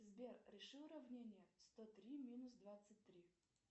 сбер реши уравнение сто три минус двадцать три